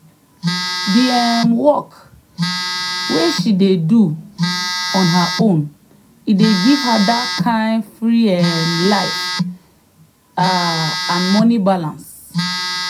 d um work way she dey do on her own e give her that kind free um life um and money balance.